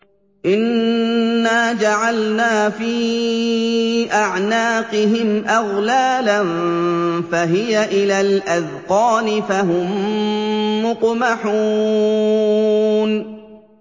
إِنَّا جَعَلْنَا فِي أَعْنَاقِهِمْ أَغْلَالًا فَهِيَ إِلَى الْأَذْقَانِ فَهُم مُّقْمَحُونَ